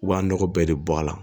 U b'a nɔgɔ bɛɛ de bɔ a la